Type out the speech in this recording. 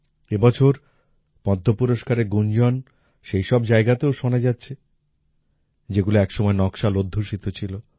এ বছর পদ্ম পুরস্কারের গুঞ্জন সেই সব জায়গাতেও শোনা যাচ্ছে যেগুলো এক সময় নকশাল অধ্যুষিত ছিল